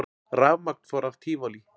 Rafmagn fór af Tívolí